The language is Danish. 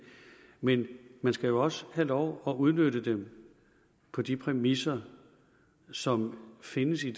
men man skal jo også have lov at udnytte dem på de præmisser som findes i